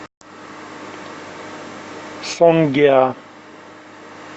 сонгеа